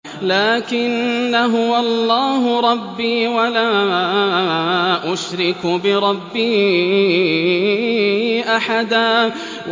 لَّٰكِنَّا هُوَ اللَّهُ رَبِّي وَلَا أُشْرِكُ بِرَبِّي أَحَدًا